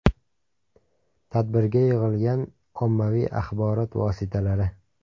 Tadbirga yig‘ilgan ommaviy axborot vositalari.